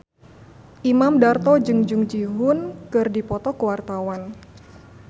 Imam Darto jeung Jung Ji Hoon keur dipoto ku wartawan